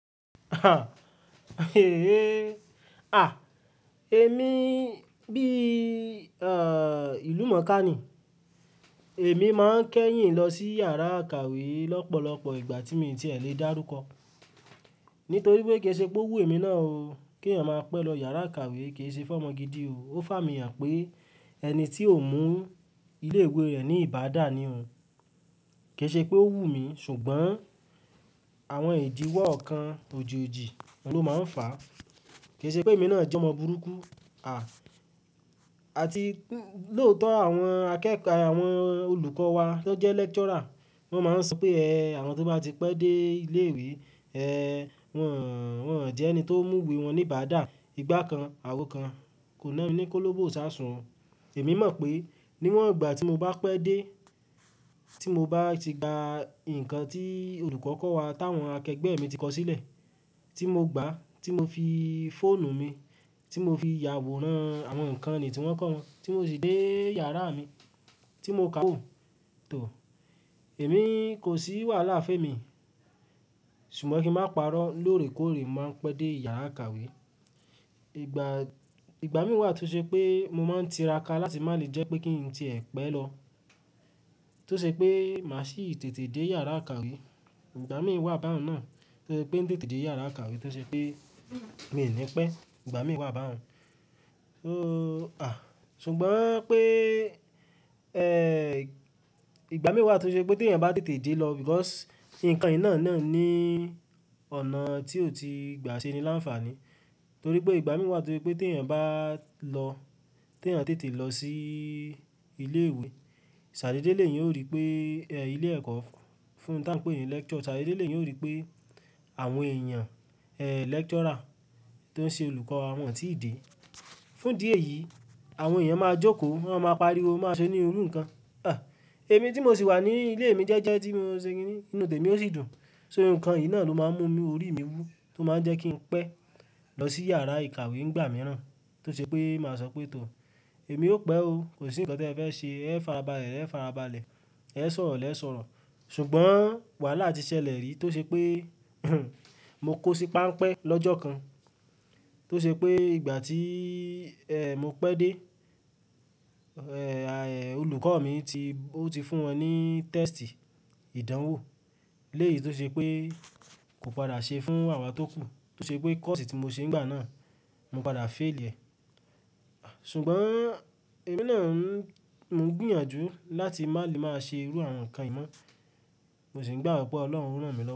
Èmi bí, eh, ìlúmọ̀ọ́kà ni. Èmi máa ń kẹ́yìn lọ sí yàrá ìkàwé lọ́pọ̀lọpọ̀ ìgbà tí mo ti ẹ̀ lè dárúkọ. Nítorí pé kìí ṣe pé ò wù mí náà o kí èèyàn máa pẹ́ lọ yàrá ìkàwé, kìí ṣe fún ọmọ gidi o. Ó fà mí hàn pé ẹni tí ò mú ilé ìwé rẹ̀ ní ìbádá ni òun. Kì í ṣe pé ó wù mí, ṣùgbọ́n àwọn ìdiwọ́ ọ̀kan ojì ojì ni ó máa ń fà á. Kì í ṣe pé èmi náà jẹ́ ọmọ burúkú, àti lóòótọ́ àwọn akẹ́kọ̀ọ́, àwọn olùkọ́ wa tó jẹ́ lecturer wọ́n máa ń sọ pé, "Ẹ̀h, àwọn tó bá ti pẹ́ dé ilé ìwé, ẹ̀h, wọ́n, wọ́n jẹ́ ẹni tó mú ìwé wọn ní ìbádá." Ìgbà kan, àwo kan, kò na mí ní kóló bó ìṣáàsùn. Èmi mọ̀ pé níwọ̀n ìgbà tí mo bá pẹ́ dé, tí mo bá ti gba ǹkan tí olùkọ́ kọ́ wa táwọn akẹgbẹ́ mi ti kọ sílẹ̀, tí mo gbà á, tí mo fi fóònù mi, tí mo fi yàwòrán àwọn ǹkan ni tí wọ́n kọ́ wọn, tí mo sì dé yàrá mi tí mo kà ó tò. Èmi kò sí wàhálà fémi. Ṣùgbọ́n kí n má parọ́ lóòrèkóòrè máa ń pẹ́ dé yàrá ìkàwé. Ìgbà, ìgbà mìí tó ṣe pé mo máa ń tira ka láti má lè jẹ́ pé kí n ti è pé lọ. Tó ṣe pé màá sì tètè dé yàrá ìkàwé. Ìgbà mìí báhun náà tó ṣe pé ń tètè dé yàrá ìkàwé tó ṣe pé mi ò ní pẹ́. Ìgbà míì wà báhun. So, à, ṣùgbọ́n pé, ẹ́h, ìgbà míì tó ṣe pé tí èèyàn bá tètè dé lọ because ǹkan yìí náà ni ọ̀nà tí ó ti gba ṣe ni láǹfààní. Torí pé ìgbà mìíràn tó ṣe pé tí èèyàn bá lọ, tí èèyàn tètè lọ sí ilé ìwé, ṣàdéédé lèyàn ó rí pé ẹ́h, ilé ẹ̀kọ́ fún táa péni lecture, ṣàdéédé lèyàn ó rí pé àwọn èèyàn, ẹ́h, lecturer tó ń ṣe olùkọ́ wọn ò tí ì dé. Fún ìdí èyí, àwọn èèyàn máa jókòó, wọ́n máa pariwo, máa ṣe ní irú ǹkan. Ẹ̀h, èmi tí mo sì wà ní ilé mi jẹ́jẹ́ tí mo ṣe kiní inú tèmi ó sì dùn. So ǹkan yìí náà ló máa ń mú orí mi wú tó máa ń jẹ́ kí n pẹ́ lọ sí yàrá ìkàwé nígbà mìíràn tó ṣe pé màá sọ pé, "Tò, èmi ó pẹ́ o. Kò sí ǹkan tí ẹ fẹ́ ṣe, ẹ ń fara balẹ̀, ẹ ń fara balẹ̀, ẹ sọ̀rọ̀, lẹ́ẹ́ sọ̀rọ̀." ṣùgbọ́n wàhálà ti ṣẹlẹ̀ rí tó ṣe pé mo kó sí páḿpẹ́ lọ́jọ́ kan. Tó ṣe pé ìgbà tí, ẹ́h, mo pẹ́ dé, ẹ́h, olùkọ́ mi ti, ó ti fún wọn ní test ìdánwò. Léyìí tó ṣe pé kò padà ṣe fún àwa tó kù. Tó ṣe pé kọ́ọ̀sì tí mo ṣe nígbà náà, mo padà féèlì ẹ̀. Ṣùgbọ́n èmi náà ń, mo ń gbìyànjú láti má lè máa ṣe irú àwọn ǹkan yìí mọ́. Mo sì ń gbàgbọ́ pé Ọlọ́run ó rànmílọ́wọ́.